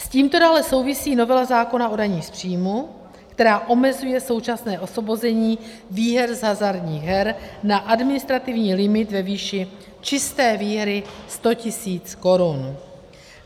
S tímto dále souvisí novela zákona o dani z příjmu, která omezuje současné osvobození výher z hazardních her na administrativní limit ve výši čisté výhry 100 000 Kč.